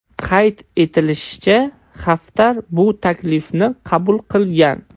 Qayd etilishicha, Xaftar bu taklifni qabul qilgan.